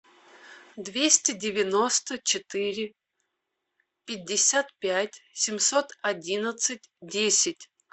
двести девяносто четыре пятьдесят пять семьсот одиннадцать десять